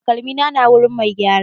Takalmina na wurin mai gyara.